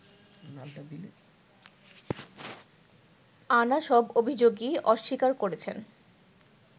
আনা সব অভিযোগই অস্বীকার করেছেন